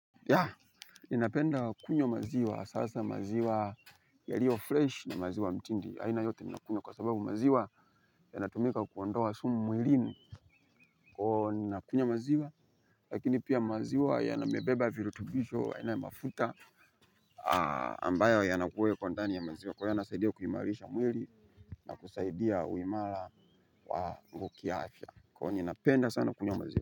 Yeah, ninapenda kunywa maziwa hasa hasa maziwa yaliyo fresh na maziwa mtindi aina yote ninakunywa kwasababu maziwa yanatumika kuondoa sumu mwilini kwahiyo ninakunywa maziwa lakini pia maziwa yamebeba virutubisho aina ya mafuta ambayo yanakuwepo ndani ya maziwa kwahiyo yanasaidia kuimarisha mwili, nakusaidia uhimara wa kiafya kwahiyo ninapenda sana kunywa maziwa.